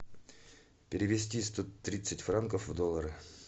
перевести сто тридцать франков в доллары